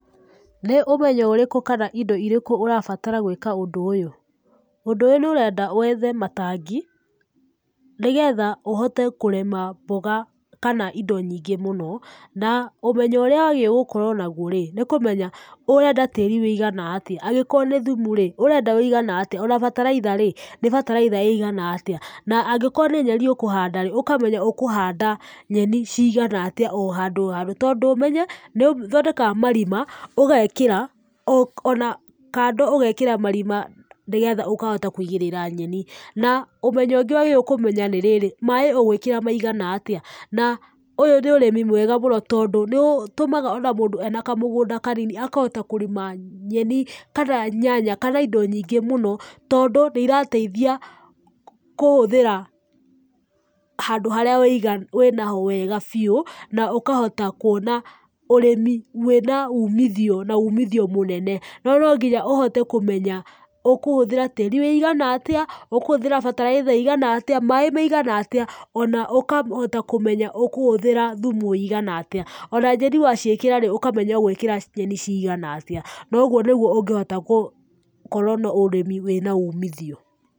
Nĩ ũmenyo ũrĩku kana indo irĩkũ ũrabatara gwĩka ũndũ ũyũ? Ũndũ ũyũ nĩ ũrenda wethe matangi, nĩgetha ũhote kũrima mboga kana indo nyingi mũno, na ũmenyo ũrĩa wagĩrĩirwo gũkorwo naguo rĩ, nĩ kũmenya tĩĩri ũigana atĩa? Angĩkorwo nĩ thumu rĩ, ũrenda thumu ũigana atia? Ona bataraitha rĩ, ũrenda bataraitha ĩigana atĩa? Na angĩkorwo nĩ nyeni ũkũhanda rĩ, ũkamenya ũkũhanda nyeni ciigana atĩa o handũ o handũ, tondũ ũmenye nĩ ũthondekaga marima ũgekĩra, ona kando ũgekĩra marima, nĩgetha ũkahota kũigĩrĩra nyeni. Na ũmenyo ũngĩ ũkũmenya nĩ rĩrĩ, maaĩ ũgũĩkĩra maigana atĩa. Na, ũyũ nĩ ũrĩmĩ mwega tondũ nĩ ũtũmaga ona mũndũ ena kamũgũnda kanini akahota kũrĩma nyeni, kana nyanya, kana indo nyingĩ mũno, tondũ nĩ irateithia, kũhũthĩrahandũ harĩa wena ho wega biũ, na ũkahota kũona ũrĩmi wĩna uumithio na uumithio mũnene. No, no nginya ũhote kũmenya ũkũhũthĩra tĩĩri wĩigana atĩa, ũkũhũthĩra bataraitha ĩigana atĩa, maaĩ maigana atĩa, ona ũkahota kũmenya ũkũhũthĩra thumu ũigana atĩa. Ona nyeni waciĩkĩra rĩ, ũkamenya ũgũĩkĩra nyeni ciigana atĩa, na ũguo nĩguo ũngĩhota gũkorwo na ũrĩmi wĩna uumithio.